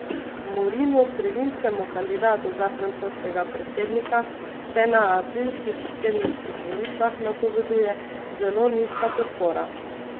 Morinu, sredinskemu kandidatu za francoskega predsednika, se na aprilskih predsedniških volitvah napoveduje zelo nizka podpora.